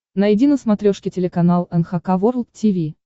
найди на смотрешке телеканал эн эйч кей волд ти ви